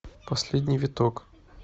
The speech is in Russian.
последний виток